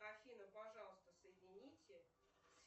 афина пожалуйста соедините